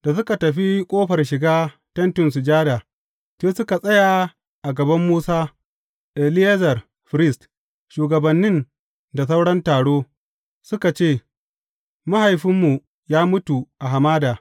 Da suka tafi ƙofar shiga Tentin Sujada, sai suka tsaya a gaban Musa, Eleyazar firist, shugabannin da sauran taro, suka ce, Mahaifinmu ya mutu a hamada.